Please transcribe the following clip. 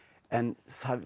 en